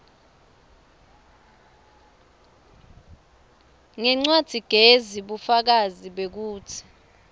ngencwadzigezi bufakazi bekutsi